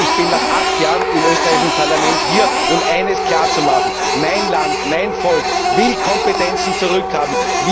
Ich bin nach acht Jahren im österreichischen Parlament jetzt hier, um eines klarzumachen Mein Land, mein Volk, will Kompetenzen zurückhaben.